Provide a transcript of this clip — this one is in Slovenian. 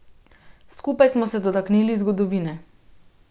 Skupaj smo se dotaknili zgodovine.